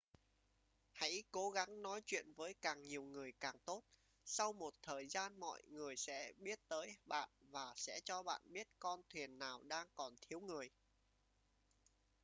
hãy cố gắng nói chuyện với càng nhiều người càng tốt sau một thời gian mọi người sẽ biết tới bạn và sẽ cho bạn biết con thuyền nào đang còn thiếu người